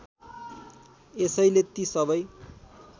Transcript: यसैले ती सबै